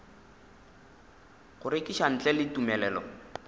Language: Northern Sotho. go rekiša ntle le tumelelo